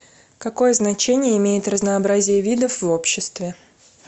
какое значение имеет разнообразие видов в обществе